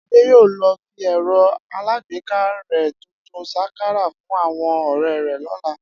Adé yóò lo̩ fi è̩ro̩ alágbéká rè̩ tuntun s̩akará fún àwo̩n ò̩ré̩ rè̩ ló̩la